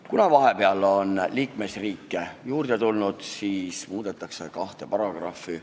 Kuna vahepeal on liikmesriike juurde tulnud, siis muudetakse kahte paragrahvi.